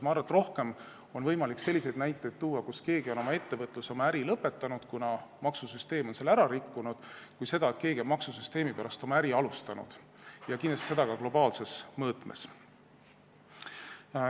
Ma arvan, et rohkem on võimalik selliseid näiteid tuua, kus keegi on oma ettevõtluse, oma äri lõpetanud, kuna maksusüsteem on selle ära rikkunud, kui selliseid näiteid, et keegi on maksusüsteemi pärast oma äri alustanud, seda kindlasti ka globaalses mõõtmes.